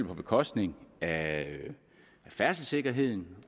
på bekostning af færdselssikkerheden